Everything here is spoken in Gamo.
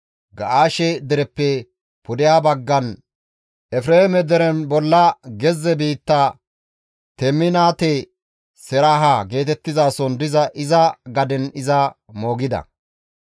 Ga7aashe dereppe pudeha baggan Efreeme deren bolla gezze biittan Teminaate-Seraaha geetettizason diza iza gaden iza moogida.